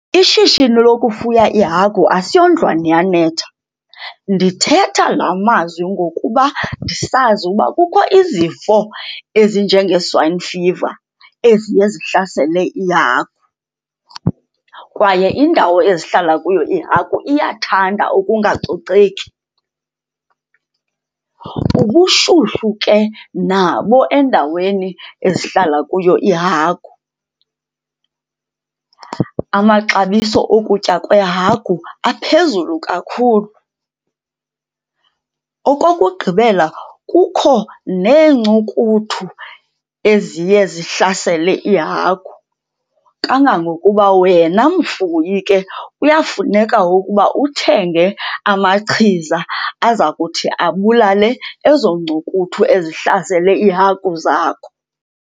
Ishishini lokufuya iihagu asiyondlwana iyanetha. Ndithetha la mazwi ngokuba ndisazi uba kukho izifo ezinjengee-swine fever eziye zihlasele iihagu, kwaye indawo ezihlala kuyo iihagu iyathanda ukungacoceki, ubushushu ke nabo endaweni ezihlala kuyo iihagu. Amaxabiso okutya kweehagu aphezulu kakhulu. Okokugqibela, kukho neencukuthu eziye zihlasele iihagu kangangokuba wena mfuyi ke kuyafuneka ukuba uthenge amachiza aza kuthi abulale ezo ncukuthu ezihlasele iihagu zakho.